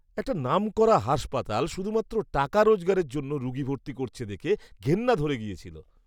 একটা নামকরা হাসপাতাল শুধুমাত্র টাকা রোজগারের জন্য রুগী ভর্তি করছে দেখে ঘেন্না ধরে গেছিল!